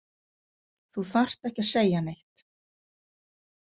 Þú þarft ekki að segja neitt.